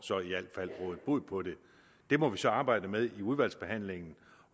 rådet bod på det det må vi så arbejde med i udvalgsbehandlingen